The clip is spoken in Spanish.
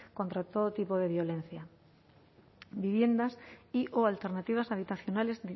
contra todo tipo de violencia viviendas y o alternativas habitacionales